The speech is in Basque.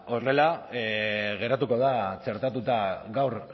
horrela geratuko da txertatuta gaur